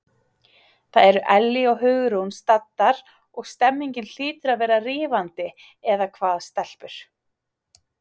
Þar eru Ellý og Hugrún staddar og stemningin hlýtur að vera rífandi eða hvað, stelpur?